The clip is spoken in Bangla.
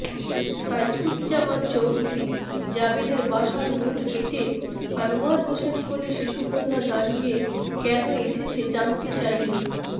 সাইফুজ্জামান চৌধুরী জাবেদের বাসার মূল গেইটে আনোয়ার হোসেন কোলে শিশুকন্যা দাঁড়িয়ে কেন এসেছে জানতে ছাইলে